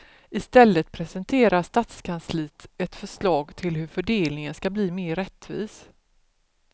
I stället presenterar stadskansliet ett förslag till hur fördelningen ska bli mer rättvis.